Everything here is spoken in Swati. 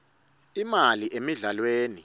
imali emidlalweni